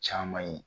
Caman ye